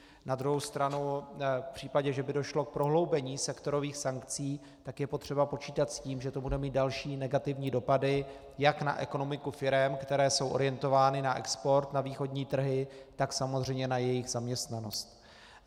Na druhou stranu v případě, že by došlo k prohloubení sektorových sankcí, tak je potřeba počítat s tím, že to bude mít další negativní dopady jak na ekonomiku firem, které jsou orientovány na export na východní trhy, tak samozřejmě na jejich zaměstnanost.